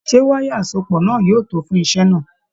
Ṣe wayà asopọ náà yóò tó fún iṣẹ náà?